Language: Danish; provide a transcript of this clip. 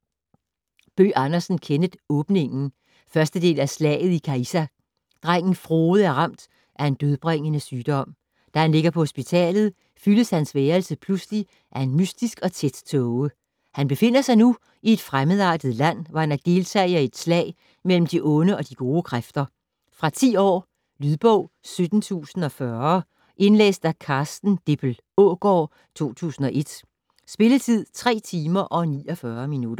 Bøgh Andersen, Kenneth: Åbningen 1. del af Slaget i Caïssa. Drengen Frode er ramt af en dødbringende sygdom. Da han ligger på hospitalet fyldes hans værelse pludselig af en mystisk og tæt tåge. Han befinder sig nu i et fremmedartet land, hvor han er deltager i et slag mellem de gode og de onde kræfter. Fra 10 år. Lydbog 17040 Indlæst af Carsten Dippel Aagaard, 2001. Spilletid: 3 timer, 49 minutter.